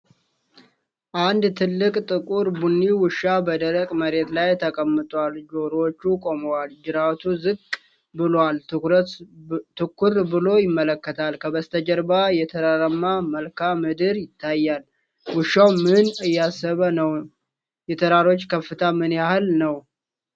አንድ ትልቅ ጥቁር ቡኒ ውሻ በደረቅ መሬት ላይ ተቀምጧል። ጆሮዎቹ ቆመዋል፣ ጅራቱ ዝቅ ብሎአል፣ ትኩር ብሎ ይመለከታል። ከበስተጀርባ የተራራማ መልክዓ ምድር ይታያል። ውሻው ምን እያሰበ ነው? የተራሮቹ ከፍታ ምን ያህል ነው?